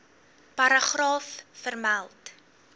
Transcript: paragraaf vermeld